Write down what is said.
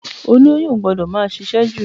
Olóyún o gbọ́dọ̀ máa ṣiṣẹ́ jù.